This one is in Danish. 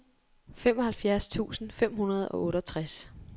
femoghalvfems tusind fem hundrede og otteogtres